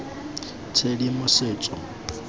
tshedimosetso